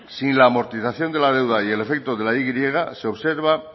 sin la amortización de la deuda y el efecto de la y se observa